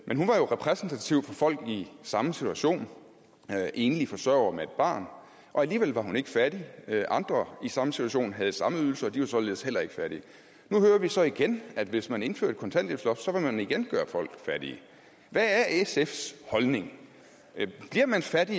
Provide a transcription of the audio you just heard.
men hun var jo repræsentativ for folk i samme situation enlige forsørgere med et barn og alligevel var hun ikke fattig andre i samme situation havde samme ydelser og de var således heller ikke fattige nu hører vi så igen at hvis man indfører et kontanthjælpsloft vil man igen gøre folk fattige hvad er sfs holdning bliver man fattig